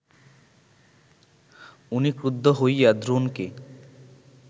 উনি ক্রুদ্ধ হইয়া দ্রোণকে